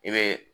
I bɛ